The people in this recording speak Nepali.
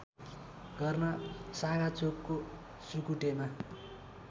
गर्न साँगाचोकको सुकुटेमा